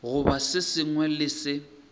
goba se sengwe le se